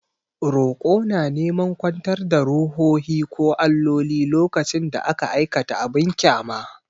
Roƙo na neman kwantar da ruhohi ko alloli lokacin da aka aikata abin ƙyama.